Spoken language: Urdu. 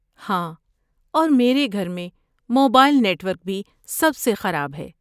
ہاں، اور میری گھر میں موبائل نیٹ ورک بھی سب سے خراب ہے۔